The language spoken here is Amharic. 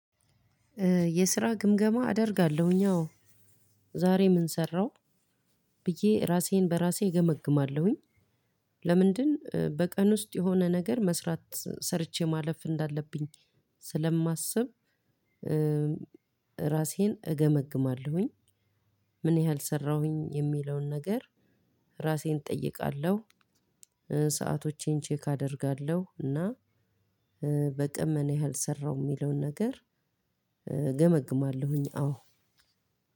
የስራ ግምገማ አደርጋለሁኝ። አዎ ዛሬ ምን ሰራው ብዬ ራሴን በራሴ እገመግማለሁኝ። ለምንድን በቀን ውስጥ የሆነ ነገር መስራት ሰርቼ ማለፍ እንዳለብኝ። ስለማስብ። ራሴን እገመግማለሁኝ። ምን ያህል ሰራሁኝ? የሚለውን ነገር። ራሴን እጠይቃለሁ። ሰአቶቼን ቼክ አደርጋለሁ። እና በቀን ምን ያህል ሰራሁ የሚለውን ነገር እገመግማለሁኝ። አዎ።